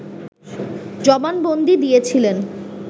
জবানবন্দী দিয়েছিলেন